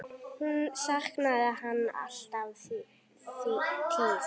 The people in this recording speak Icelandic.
Hún saknaði hans alla tíð.